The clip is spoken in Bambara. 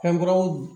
Fɛnw